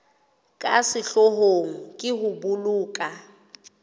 ka sehloohong ke ho boloka